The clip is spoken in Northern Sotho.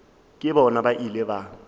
le bona ba ile ba